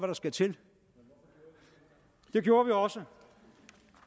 der skal til det gjorde vi også